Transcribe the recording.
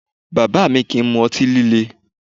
Bàbá mi kìí mu ọtí líle